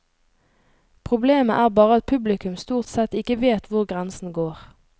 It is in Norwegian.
Problemet er bare at publikum stort sett ikke vet hvor grensen går.